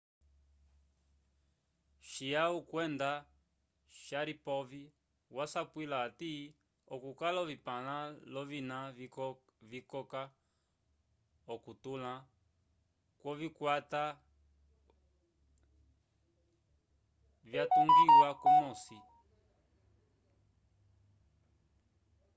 chiao kwenda sharipov vasapwila hati okukala ovipãla l'ovina vikoka okutotãla kwovikwata vyatungiwa kumosi